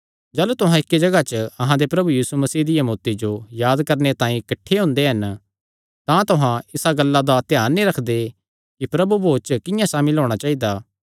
जाह़लू तुहां इक्की जगाह च अहां दे प्रभु यीशु मसीह दिया मौत्ती जो याद करणे तांई किठ्ठे हुंदे हन तां तुहां इसा गल्ला दा ध्यान नीं रखदे कि प्रभु भोज च किंआं सामिल होणा चाइदा